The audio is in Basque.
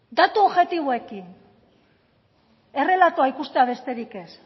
datu objektiboekin errelatoa ikustea besterik ez